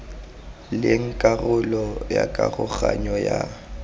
leng karolo ya karoganyo ya